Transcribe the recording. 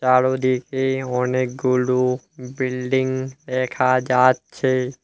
আর ওদিকে অনেকগুলো বিল্ডিং দেখা যাচ্ছে।